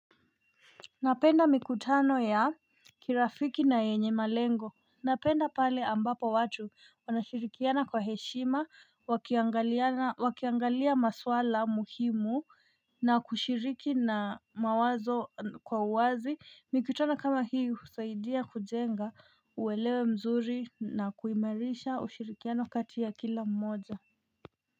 Napenda mikutano ya kirafiki na yenye malengo. Napenda pale ambapo watu wanashirikiana kwa heshima, wakiangaliana, wakiangalia maswala muhimu na kushiriki na mawazo kwa uwazi. Mikutano kama hii husaidia kujenga uelewe mzuri na kuimirisha ushirikiano kati ya kila mmoja.